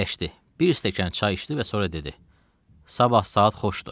Əyləşdi, bir stəkan çay içdi və sonra dedi: Sabah saat xoşdu.